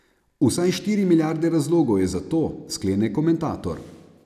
Vsaj štiri milijarde razlogov je za to, sklene komentator.